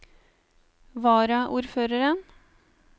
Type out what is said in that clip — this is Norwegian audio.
varaordføreren